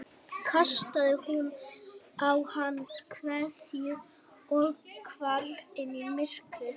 Þá kastaði hún á hann kveðju og hvarf inn í myrkrið.